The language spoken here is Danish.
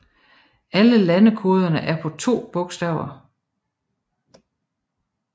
Alle landekoderne er på to bogstaver